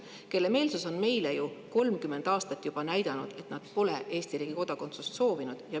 on oma meelsust meile juba 30 aastat näidanud, sest nad pole Eesti riigi kodakondsust soovinud.